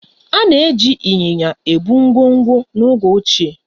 Ana eji ịnyịnya ebu ngwongwo n'oge ochie.